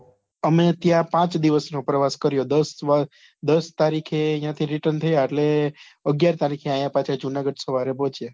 અમે ત્યાં પાંચ દિવસ નો પ્રવાસ કર્યો દસ દસ તારીખે યા થી return થયા એટલે અગિયાર તારીખે આયા પાછા જુનાગઢ સવારે પહોચ્યા